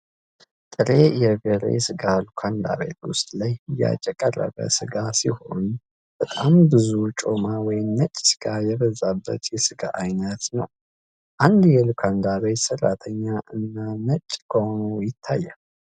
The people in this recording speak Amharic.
ጥሬ የበሬ ስጋ ሉካንዳ ቤት ውስጥ ለሽያጭ የቀረበ ስጋ ሲሆን በጣም ብዙ ጮማ ወይም ነጭ ስጋ የበዛበት የስጋ አይነት ነው ። አንድ የሉካንዳ ቤት ሰራተኛ እነ ነጭ ገዋኑ ይታያል።